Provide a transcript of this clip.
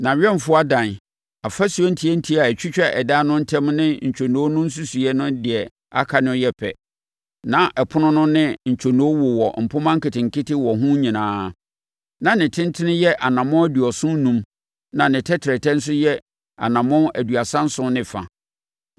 Nʼawɛmfoɔ adan, afasuo ntiatia a ɛtwitwa adan no ntam ne ntwonoo no nsusuiɛ ne deɛ aka no yɛ pɛ. Na ɛpono no ne ne ntwonoo wowɔ mpomma nketenkete wɔ ho nyinaa. Na ne tentene yɛ anammɔn aduɔson enum na ne tɛtrɛtɛ nso yɛ anammɔn aduasa nson ne fa.